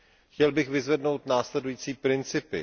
Chtěl bych vyzvednout následující principy.